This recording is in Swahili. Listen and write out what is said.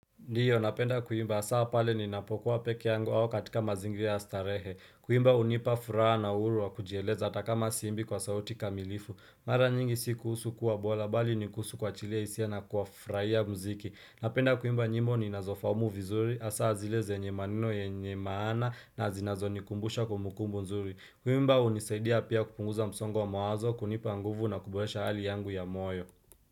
Ndiyo napenda kuimba asaa pale ninapokuwa pekee yangu ao katika mazingira ya starehe Kuimba unipa furaha na huru wa kujieleza ata kama siimbi kwa sauti kamilifu Mara nyingi si kuhusu kuwa bola bali ni kuhusu kwachilia isia na kuafraia mziki Napenda kuimba nyimbo ninazofaumu vizuri asaa zile zenye maneno yanye maana na zinazonikumbusha kumbukumbu nzuri Kuimba unisaidia pia kupunguza msongo wa mawazo kunipa nguvu na kuboresha hali yangu ya moyo.